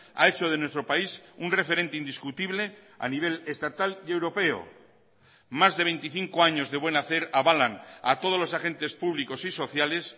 ha hecho de nuestro país un referente indiscutible a nivel estatal y europeo más de veinticinco años de buen hacer avalan a todos los agentes públicos y sociales